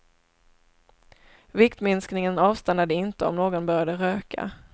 Viktminskningen avstannade inte om någon började röka.